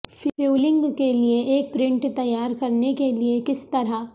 fuelling کے لئے ایک پرنٹ تیار کرنے کے لئے کس طرح